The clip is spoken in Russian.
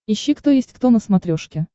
ищи кто есть кто на смотрешке